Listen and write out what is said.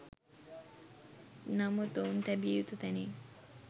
නමුත් ඔවුන් තැබිය යුතු තැනින්